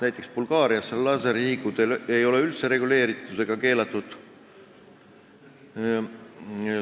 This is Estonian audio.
Näiteks ei ole Bulgaarias lasersihikute kasutamine üldse reguleeritud ega keelatud.